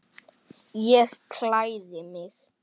Ég klæði mig.